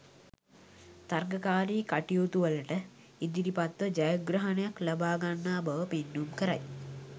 තරගකාරී කටයුතුවලට ඉදිරිපත්ව ජයග්‍රහණයක් ලබා ගන්නා බව පෙන්නුම් කරයි.